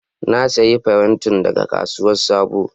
Na siya farentin daga kasuwan sabo.